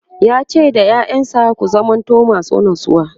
yace da ƴaƴansa "ku zamanto masu natsuwa!"